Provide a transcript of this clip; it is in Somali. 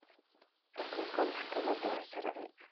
Xukunka maxkamada waa sharci.